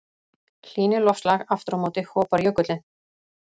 hlýni loftslag aftur á móti hopar jökullinn